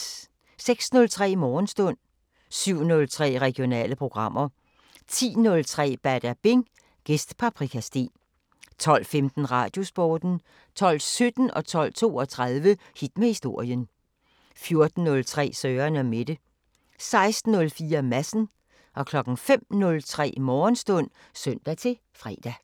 06:03: Morgenstund 07:03: Regionale programmer 10:03: Badabing: Gæst Paprika Steen 12:15: Radiosporten 12:17: Hit med historien 12:32: Hit med historien 14:03: Søren & Mette 16:04: Madsen 05:03: Morgenstund (søn-fre)